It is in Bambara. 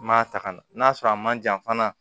N m'a ta ka na n'a sɔrɔ a man jan fana